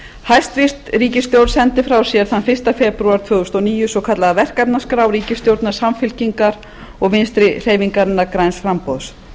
hæstvirt ríkisstjórn sendi frá sér þann fyrsta febrúar tvö þúsund og níu svokallaða verkefnaskrá ríkisstjórnar samfylkingar og vinstri hreyfingarinnar græns framboðs